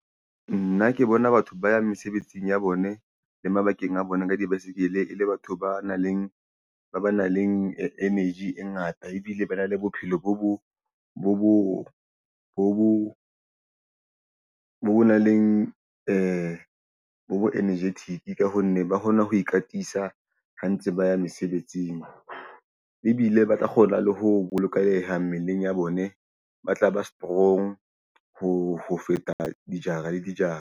Nna ke bona batho ba yang mesebetsing ya bone le mabakeng a bona ka di-bicycle. E le batho ba nang le energy e ngata ebile ba na le bophelo bo nang leng bo energetic ka ho nne ba hona ho ikatisa ha ntse ba ya mesebetsing ebile ba tla kgona le ho bolokeha mmeleng ya bone. Ba tla ba strong ho feta dijara le dijara.